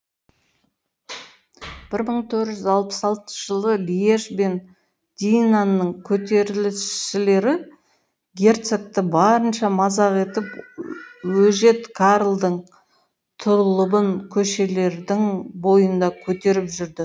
бір мың төрт жүз алпыс алтыншы жылы льеж бен динанның көтерілісшілері герцогты барынша мазақ етіп өжет карлдың тұлыбын көшелердің бойында көтеріп жүрді